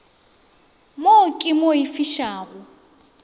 mo ke mo e fišago